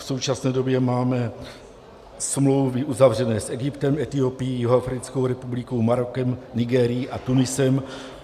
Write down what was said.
V současné době máme smlouvy uzavřené s Egyptem, Etiopií, Jihoafrickou republikou, Marokem, Nigérií a Tuniskem.